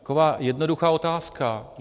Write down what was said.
Taková jednoduchá otázka.